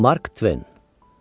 Mark Twain.